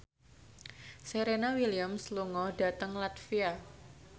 Serena Williams lunga dhateng latvia